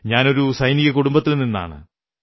ഞാനൊരു സൈനിക കുടുംബത്തിൽ നിന്നാണ്